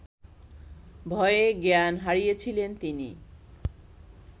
ভয়ে জ্ঞান হারিয়েছিলেন তিনি